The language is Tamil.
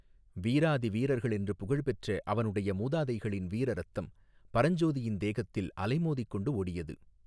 வீராதி வீரர்களென்று புகழ் பெற்ற அவனுடைய மூதாதைகளின் வீர இரத்தம் பரஞ்சோதியின் தேகத்தில் அலை மோதிக்கொண்டு ஓடியது.